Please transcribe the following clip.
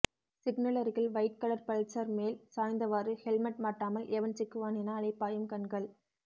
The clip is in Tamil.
சிக்னலருகில் வைட்கலர் பல்சார் மேல் சாய்ந்தவாறு ஹெல்மெட் மாட்டாமல் எவன் சிக்குவான் என அலைபாயும் கண்கள்